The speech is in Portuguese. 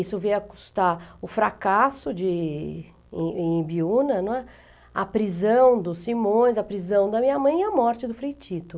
Isso veio a custar o fracasso de em em Ibiúna, né, a prisão do Simões, a prisão da minha mãe e a morte do Frei Tito.